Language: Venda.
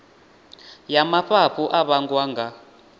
ya mafhafhu a vhangwa nga